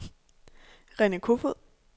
Rene Kofoed